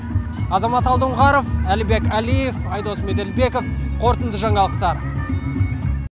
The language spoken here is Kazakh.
азамат алдоңғаров әлібек әлиев айдос меделбеков қорытынды жаңалықтар